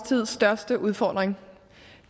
tids største udfordring